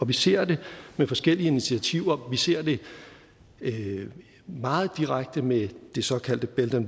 vi ser det med forskellige initiativer vi ser det meget direkte med det såkaldte belt